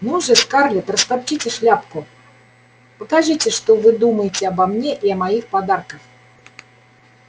ну же скарлетт растопчите шляпку покажите что вы думаете обо мне и о моих подарках